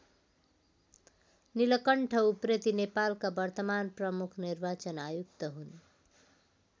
नीलकण्ठ उप्रेती नेपालका वर्तमान प्रमुख निर्वाचन आयुक्त हुन्।